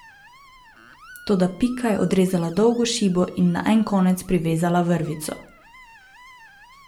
Toda Pika je odrezala dolgo šibo in na en konec privezala vrvico.